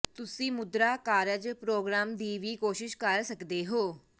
ਤੁਸੀਂ ਮੁਦਰਾ ਕਾਰਜ ਪ੍ਰੋਗ੍ਰਾਮ ਦੀ ਵੀ ਕੋਸ਼ਿਸ਼ ਕਰ ਸਕਦੇ ਹੋ